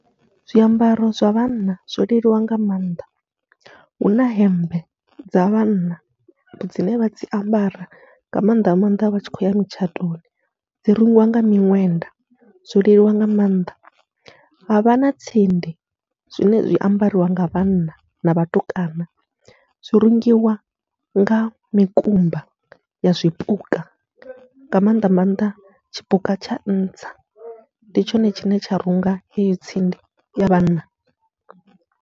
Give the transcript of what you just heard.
Zwiambaro zwa vhanna zwo leluwa nga maanḓa, huna hemmbe dza vhanna dzine vha dzi ambara nga maanḓa nga maanḓa vha tshi khou ya mitshatoni, dzi rungiwa nga miṅwenda zwo leluwa nga maanḓa. Havha na tsindi zwine zwi ambariwa nga vhanna na vhatukana, zwi rungiwa nga mikumba ya zwipuka nga maanḓa maanḓa tshipuka tsha ntsa ndi tshone tshine tsha runga heyo tsindi ya vhanna.